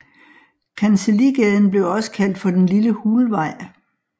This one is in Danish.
Kancelligaden blev også kaldt for den Lille Hulvej